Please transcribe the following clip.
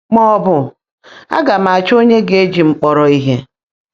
mà ọ́ bụ́, “Á gá m áchọ́ ónyé gá-èjí m kpọ́rọ́ íhe!”